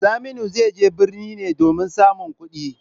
Saminu zai je birni ne domin samun kudi.